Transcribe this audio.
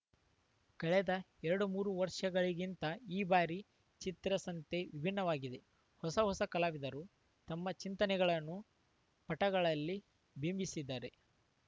ಕಳೆದ ಎರಡು ಮೂರು ವರ್ಷಗಳಿಗಿಂತ ಈ ಬಾರಿಯ ಚಿತ್ರಸಂತೆ ವಿಭಿನ್ನವಾಗಿದೆ ಹೊಸ ಹೊಸ ಕಲಾವಿದರು ತಮ್ಮ ಚಿಂತನೆಗಳನ್ನು ಪಟಗಳಲ್ಲಿ ಬಿಂಬಿಸಿದ್ದಾರೆ